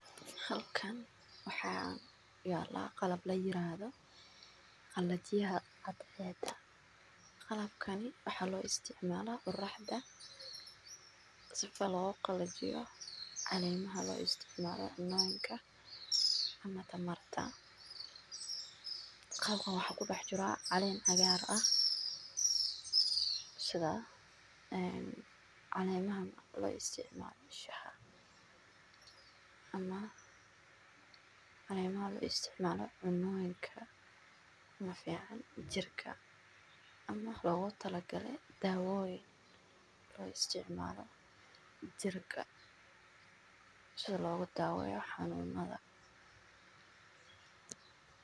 Halkaan waxaa yaalla qalab la yiraahdo qallajiyaxa caded. Qalabkani waxaa loo isticmaalaa quraxa daa isagoo loogu qallajiyo caleema ha loo isticmaalaa cunnoynka ama tamarta. Halkan waxaa ku dax jiraa caleen cagaar ah sida, eeen, caleemaha loo isticmaalo shax. Ama, caleemaha loo isticmala cunnooyinka ma fiican jirka ama loguu talagalay daawooyin loo isticmaalo jirka sida lagu daawo xanuunada.